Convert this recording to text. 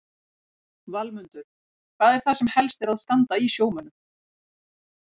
Valmundur, hvað er það sem helst er að standa í sjómönnum?